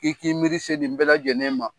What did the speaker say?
I k'i miiri se nin bɛɛ lajɛlen ma.